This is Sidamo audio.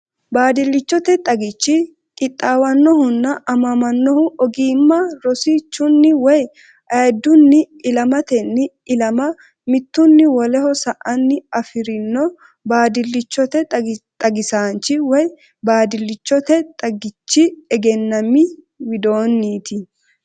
Baadillichote xagichi qixxaawannohunna aamamannohu ogimma rosi- chunni woy ayiddunni ilamatenni ilama mittunni woleho sa”anna afi’rino baadillichote xagisaanchi (baadillichote xagichi egennaami) widoonniiti.